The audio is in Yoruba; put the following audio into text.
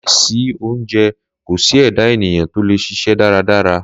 Láìsí sí oúnjẹ kò sí ẹ̀dá ènìyàn tó lè ṣiṣẹ́ dáradára.